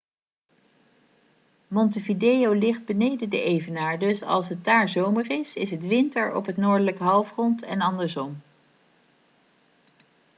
montevideo ligt beneden de evenaar dus als het daar zomer is is het winter op het noordelijk halfrond en andersom